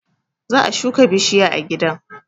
Za a shuka bishiya a gidan